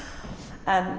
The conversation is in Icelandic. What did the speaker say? en